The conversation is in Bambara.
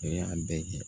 O y'a bɛɛ kɛ